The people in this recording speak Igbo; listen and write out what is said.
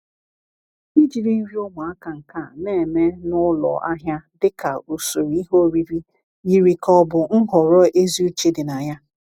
Ijiri nri ụmụaka nke a na-eme n'ụlọ ahịa dị ka usoro ihe oriri yiri ka ọ bụ nhọrọ ezi uche dị na ya.